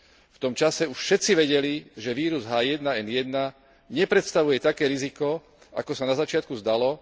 V tom čase už všetci vedeli, že vírus H1N1 nepredstavuje také riziko, ako sa na začiatku zdalo.